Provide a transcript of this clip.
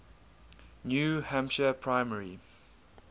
new hampshire primary